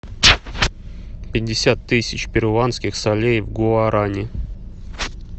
пятьдесят тысяч перуанских солей в гуарани